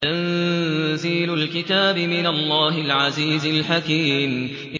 تَنزِيلُ الْكِتَابِ مِنَ اللَّهِ الْعَزِيزِ الْحَكِيمِ